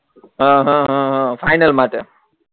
હ હ હ ફાઈનલ માટે